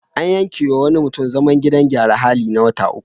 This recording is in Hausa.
An yankewa wani mutum zaman gidan gyaran hali na wata uku.